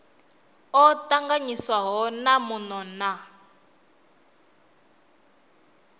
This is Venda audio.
o tanganyiswaho na muno na